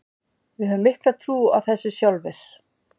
Við höfum mikla trú á þessu sjálfir.